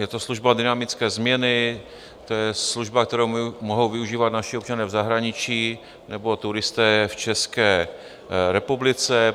Je to služba dynamické směny, to je služba, kterou mohou využívat naši občané v zahraničí nebo turisté v České republice.